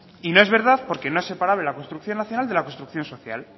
y no es verdad porque no separable la construcción nacional de la construcción social